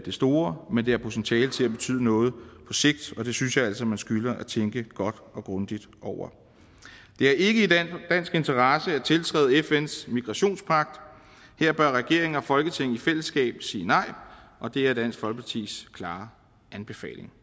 store men det har potentiale til at betyde noget på sigt og det synes jeg altså man skylder at tænke godt og grundigt over det er ikke i dansk interesse at tiltræde fns migrationspagt her bør regeringen og folketinget i fællesskab sige nej og det er dansk folkepartis klare anbefaling